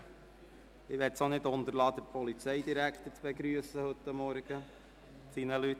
Ich möchte es nicht unterlassen, den Polizeidirektor und seine Mitarbeiter zu begrüssen.